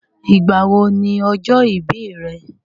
Ìgbà wo ni ọjọ́ ìbí rẹ?